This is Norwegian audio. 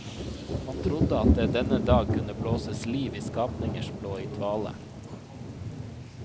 Man trodde at det denne dag kunne blåses liv i skapninger som lå i dvale.